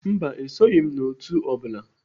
Mba, esoghị m otu o bụla.